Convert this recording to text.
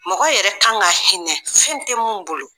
Mɔgɔ yɛrɛ kan ka hinɛ fɛn tɛ minnu bolo.